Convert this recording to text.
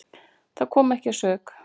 Það kom ekki að sök.